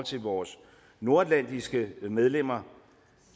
til vores nordatlantiske medlemmer